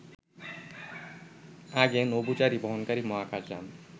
আগে নভোচারী বহনকারী মহাকাশ যান